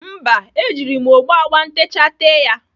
Mba, ejiri m ogbo agba ntecha tee ya.